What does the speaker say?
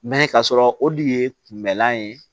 Mɛ ka sɔrɔ o de ye kunbɛlan ye